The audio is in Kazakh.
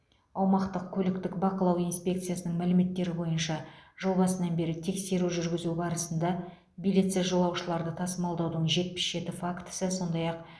аумақтық көліктік бақылау инспекциясының мәліметтері бойынша жыл басынан бері тексеру жүргізу барысында билетсіз жолаушыларды тасымалдаудың жетпіс жеті фактісі сондай ақ